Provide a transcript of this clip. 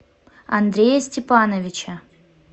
андрея степановича